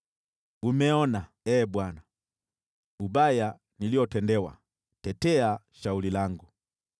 Umeona, Ee Bwana , ubaya niliotendewa. Tetea shauri langu!